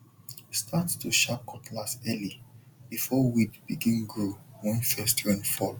start to sharp cutlass early before weed begin grow when first rain fall